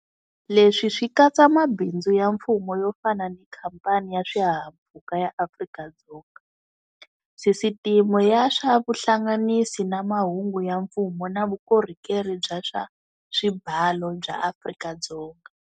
Leswi swi katsa mabindzu ya mfumo yo fana ni Khampani ya Swihahampfhuka ya Afrika-Dzonga, Sisiteme ya swa Vuhlanganisi na Mahungu ya Mfumo na Vukorhokeri bya swa Swibalo bya Afrika-Dzonga.